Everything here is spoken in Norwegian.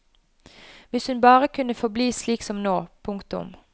Hvis hun bare kunne forbli slik som nå. punktum